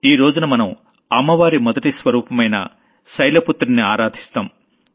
ఈ రోజున మనం అమ్మవారి మొదటి స్వరూపమైన శైలపుత్రిని ఆరాధిస్తాం